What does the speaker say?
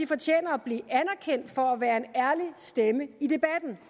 fortjener at blive anerkendt for at være en ærlig stemme i debatten